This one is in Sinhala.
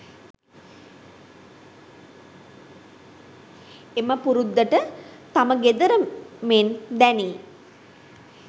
එම පුරුද්දට තම ගෙදර මෙන් දැනී